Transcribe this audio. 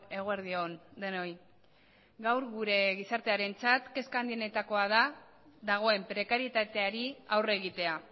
eguerdi on denoi gaur gure gizartearentzat kezka handienetakoa da dagoen prekarietateari aurre egitea